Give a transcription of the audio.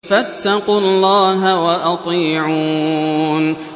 فَاتَّقُوا اللَّهَ وَأَطِيعُونِ